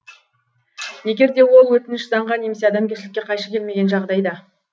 егер де ол өтініш заңға немесе адамгершілікке қайшы келмеген жағдайда